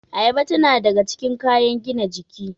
Ayaba tana daga cikin kayan gina jiki